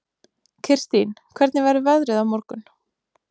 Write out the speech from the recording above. Kirstín, hvernig verður veðrið á morgun?